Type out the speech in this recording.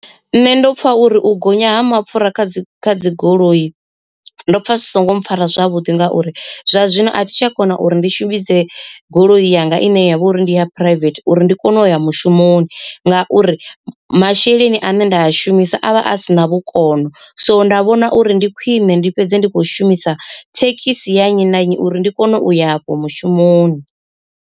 Nṋe ndo pfa uri u gonya ha mapfura kha dzi dzi goloi ndo pfa zwi songo mpfhara zwavhuḓi ngauri zwa zwino athi tsha kona uri ndi shumise goloi yanga ine yavha uri ndi ya private uri ndi kone u ya mushumoni. Ngauri masheleni ane nda a shumisa avha a sina vhukono so nda vhona uri ndi khwine ndi fhedze ndi khou shumisa thekhisi ya nnyi na nnyi uri ndi kone u ya afho mushumoni.